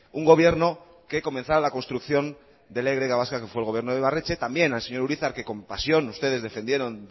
un gobierno que comenzara la construcción de la y vasca que fue el gobierno de ibarretxe también al señor urizar que con pasión ustedes defendieron